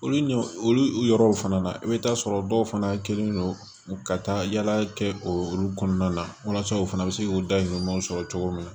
Olu ɲɔ olu yɔrɔw fana na i bɛ taa sɔrɔ dɔw fana kɛlen don u ka taa yala kɛ o olu kɔnɔna la walasa u fana bɛ se k'u dahirimɛw sɔrɔ cogo min na